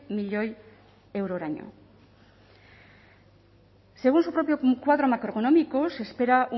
milioi euroraino según su propio cuadro macroeconómico se espera